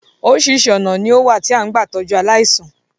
Oríṣiríṣi ọ̀nà ni ó wà tí a máa ń gbà tọ́jú aláìsàn